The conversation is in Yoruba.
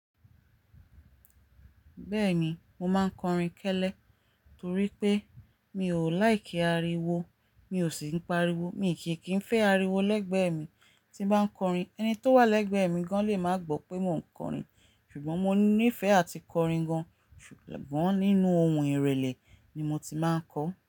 Bẹ́ẹ̀ni, mo máa ń kọrin kẹ́lẹ́ torí pé mi ò láìkí ariwo, mi ò sì ń pariwo. Mi kì kí ń fẹ́ ariwo lẹ́gbẹ̀ẹ́ mi tí ń bá ń kọrin. Ẹni tó wà lẹ́gbẹ̀ẹ́ mi gan-an lè máa gbọ́ pé mò ń kọrin. Ṣùgbọ́n mo nífẹ̀ẹ́ àti kọrin gan-an, ṣùgbọ́n nínú ohùn ìrẹ̀lẹ̀ ni mo ti máa ń kọ.